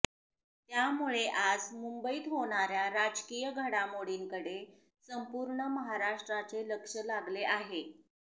त्यामुळे आज मुंबईत होणाऱ्या राजकीय घडामोडींकडे संपूर्ण महाराष्ट्राचे लक्ष लागले आहे